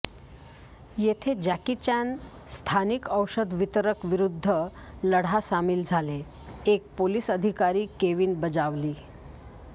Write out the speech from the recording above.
येथे Jackie Chan स्थानिक औषध वितरक विरुद्ध लढा सामील झाले एक पोलीस अधिकारी केविन बजावली